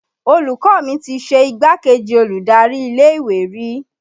Olùkọ́ mi ti ṣe igbákejì olùdarí ilé ìwé rí